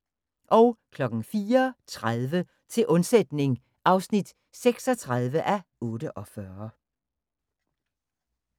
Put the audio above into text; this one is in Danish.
04:30: Til undsætning (36:48)